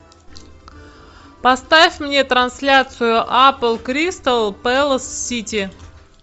поставь мне трансляцию апл кристал пэлас сити